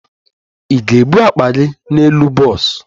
Ị ga-ebu akpa gị n'elu bọs?